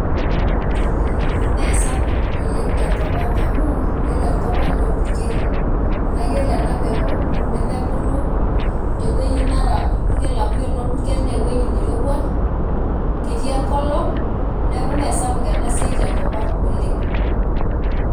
Mee sapuk oleng' tenkop ang amu yiolo enkop ang' naa orpurkel naa yiolo ena peku nemebulu tewueji nara orpurkel amu yiolo naa orpurkel naa ewueji nairowua ketii enkolong' neeku mee sapuk ena siai tenkop ang' oleng'.